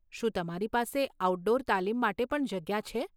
શું તમારી પાસે આઉટડોર તાલીમ માટે પણ જગ્યા છે?